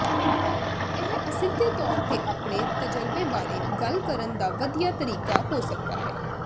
ਇਹ ਅਸਿੱਧੇ ਤੌਰ ਤੇ ਆਪਣੇ ਤਜਰਬੇ ਬਾਰੇ ਗੱਲ ਕਰਨ ਦਾ ਵਧੀਆ ਤਰੀਕਾ ਹੋ ਸਕਦਾ ਹੈ